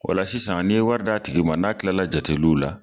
ola sisan n'i ye warid'a tigi ma n'a kilala jateliw la